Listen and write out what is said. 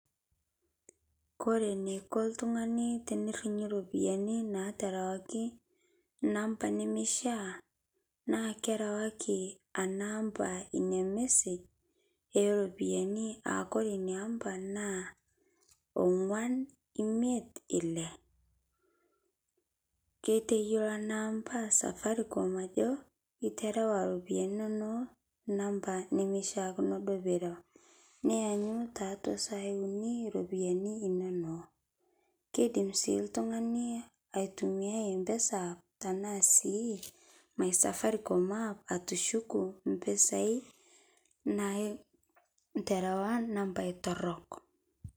Kore neiko ltung'ani tenerinyu ropiyani naterewakii nampa nemeishia naa kerawaki ana ampaa inia message eropiyani aakore inia ampa naa onguan imet ilee keiteyeloo anaa ampaa safaricom ajo iterawaa ropiyani inonoo nampaa nemeishiakinoo duo pirau nianyu taatua saai unii ropiyani inonoo keidim sii ltung'ani aitumiai mpesa tanaa sii my safaricom app atushuku mpisai naiterewa nampai torok.